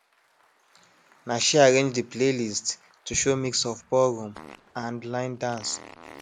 na she arrange de playlist to show mix of ballroom and line dance